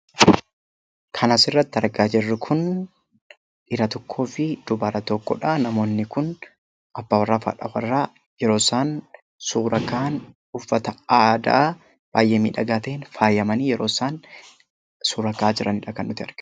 Kan asirratti argaa jirru kun dhiira tokkoo fi dubara tokkodha. Namoonni kun abbaa warraa fi haadha warraa yeroo isaan suura ka'an, uffata aadaa baay'ee miidhagaa ta'een faayamanii yeroo isaan suura ka'aa jiranidha kan nuti arginu.